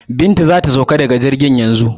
Binta za ta sauka daga jirgin yanzu.